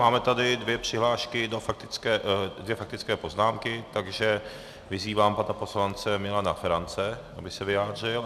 Máme tady dvě přihlášky, dvě faktické poznámky, takže vyzývám pana poslance Milana Ferance, aby se vyjádřil.